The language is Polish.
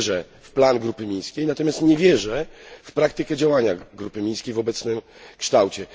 Ja wierzę w plan grupy mińskiej, natomiast nie wierzę w praktykę działania grupy mińskiej w obecnym kształcie.